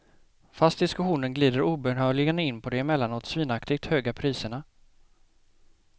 Fast diskussionen glider obönhörligen in på de emellanåt svinaktigt höga priserna.